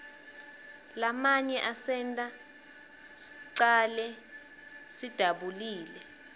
lamanye asenta shcale disabulile